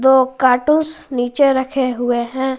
दो कार्टूंस नीचे रखे हुए हैं।